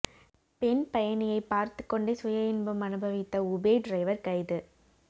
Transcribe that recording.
பெண் பயணியை பார்த்துக் கொண்டே சுயஇன்பம் அனுபவித்த உபேர் டிரைவர் கைது